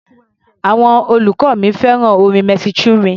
Àwọn olùkọ́ mi fẹ́ràn orin Mercy Chinwe.